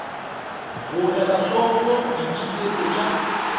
go ela hloko ditigelo tša